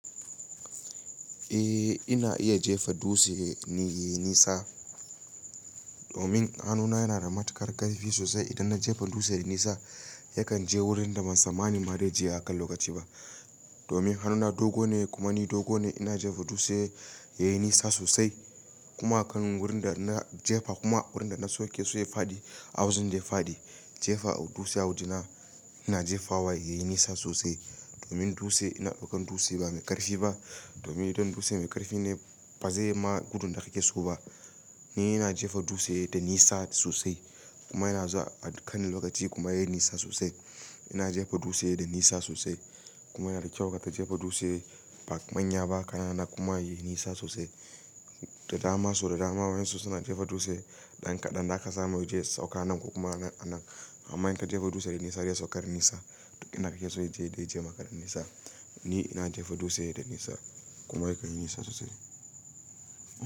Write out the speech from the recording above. Eh ina iya jefa dutse yayi nisa domin hannuna yana da matuƙar ƙarfi sosai idan na jefa dutse yayi nisa yakan je wurinda ban tsammani ma zai je a kan lokaci ba domin hannuna dogo ne kuma ni dogo ne ina jefa dutse yayi nisa sosai kuma kan wurin da na jefa kuma wurin da na sauke su yayi fadi awazin dai fadi jefa dutse a wajena ina jefa wa yayi nisa sosai domin dutse ina ɗaukan dutse ba mai ƙarfi ba domin idan dutse mai ƙarfi ne bazai ma gudu daga keso ba ni ina jefa dutse da nisa sosai kuma yana zuwa a kan lokaci kuma yayi nisa sosai ina jefa dutse dai nisa sosai kuma yana da kyau ka jefa dutse ba manya ba kana na kuma yayi nisa sosai da dama so da dama wai sosai na jefa dutse ɗan kaɗan haka zan mai je sauka nan ko kuma a nan amma in ka jefa dutse dai nisa dai saukar nisa ina ƙeso yaje dai jamaka da nisa ni ina jefa dutse dai nisa kuma yakan nisa sosai.